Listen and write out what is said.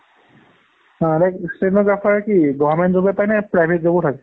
like stenography কি government job এ পাই নে private job ও থাকে?